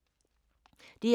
DR2